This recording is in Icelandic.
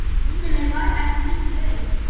Myndum við borga slík laun?